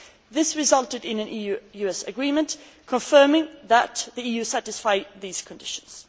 This resulted in an EU US agreement confirming that the EU satisfies these conditions.